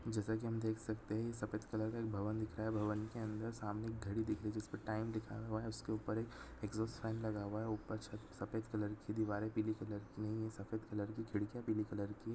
जैसा की हम देख सकते हैं सफेद कलर का भवन दिख रहा है भवन के अन्दर सामने एक घड़ी दिख रही हैं जिस पर टाइम लिखा हुआ है उसके ऊपर एक एग्जॉस्ट फैन लगा हुआ है ऊपर सफेद कलर की दीवारें पीली कलर की नई हैं सफेद कलर की खिड़कियाँ पीले कलर की है।